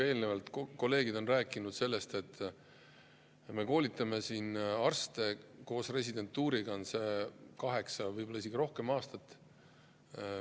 Eelnevalt on kolleegid rääkinud sellest, et me koolitame arste koos residentuuriga kaheksa, võib-olla isegi rohkem aastat.